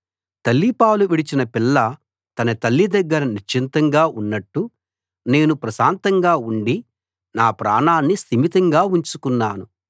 తల్లిపాలు విడిచిన పిల్ల తన తల్లి దగ్గర నిశ్చింతగా ఉన్నట్టు నేను ప్రశాంతంగా ఉండి నాప్రాణాన్ని స్థిమితంగా ఉంచుకున్నాను